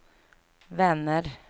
vänner